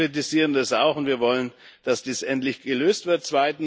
Wir kritisieren das auch, und wir wollen, dass dies endlich gelöst wird.